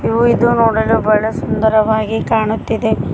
ಇವು ಇದು ನೋಡಲು ಬಹಳ ಸುಂದರವಾಗಿ ಕಾಣುತ್ತಿದೆ.